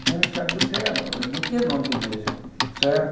A gente não sabia o que era música, não tinha nome de música.